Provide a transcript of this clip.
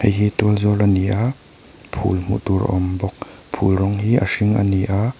hei hi tual zawl a ni a phul hmuh tur a awm bawk phul rawng hi a hring a ni aa--